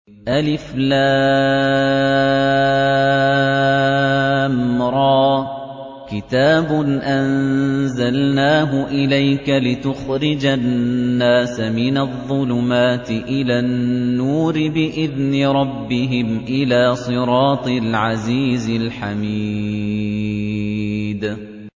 الر ۚ كِتَابٌ أَنزَلْنَاهُ إِلَيْكَ لِتُخْرِجَ النَّاسَ مِنَ الظُّلُمَاتِ إِلَى النُّورِ بِإِذْنِ رَبِّهِمْ إِلَىٰ صِرَاطِ الْعَزِيزِ الْحَمِيدِ